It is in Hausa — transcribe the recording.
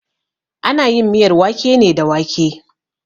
Ana yin miyar wake ne da wake.